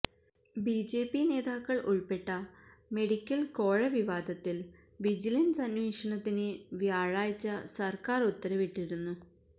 BJP നേതാക്കള് ഉള്പ്പെട്ട medical കോഴ വിവാദത്തില് വിജിലന്സ് അന്വേഷണത്തിന് വ്യാഴാഴ്ച സര്ക്കാര് ഉത്തരവിട്ടിരുന്നു